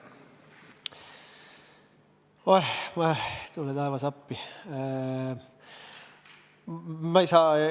Oeh, tule taevas appi!